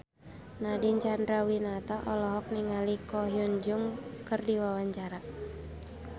Nadine Chandrawinata olohok ningali Ko Hyun Jung keur diwawancara